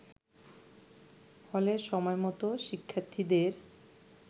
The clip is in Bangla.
ফলে সময়মত শিক্ষার্থীদের